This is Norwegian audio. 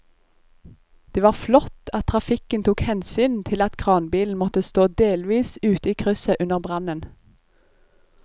Det var flott at trafikken tok hensyn til at kranbilen måtte stå delvis ute i krysset under brannen.